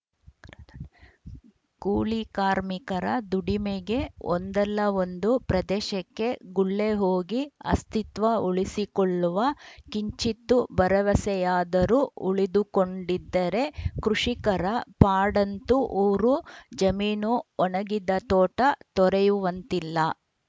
ಕೂಲಿ ಕಾರ್ಮಿಕರ ದುಡಿಮೆಗೆ ಒಂದಲ್ಲ ಒಂದು ಪ್ರದೇಶಕ್ಕೆ ಗುಳ್ಳೆ ಹೋಗಿ ಅಸ್ತಿತ್ವ ಉಳಿಸಿಕೊಳ್ಳುವ ಕಿಂಚಿತ್ತು ಭರವಸೆಯಾದರೂ ಉಳಿದುಕೊಂಡಿದ್ದರೆ ಕೃಷಿಕರ ಪಾಡಂತೂ ಊರು ಜಮೀನು ಒಣಗಿದ ತೋಟ ತೊರೆಯುವಂತಿಲ್ಲ